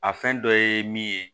A fɛn dɔ ye min ye